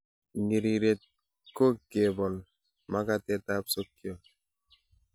Ng'iriret ko kebol makatetab sokiot.